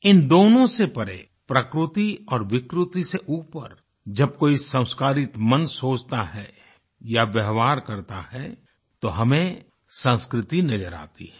इन दोनों से परे प्रकृति और विकृति से ऊपर जब कोई संस्कारितमन सोचता है या व्यवहार करता है तो हमें संस्कृति नज़र आती है